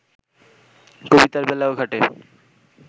কবিতার বেলায়ও খাটে